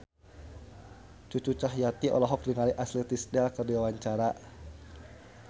Cucu Cahyati olohok ningali Ashley Tisdale keur diwawancara